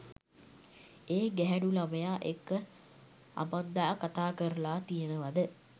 ඒ ගැහැනු ළමයා එක්ක අමන්දා කතා කරලා තියෙනවද?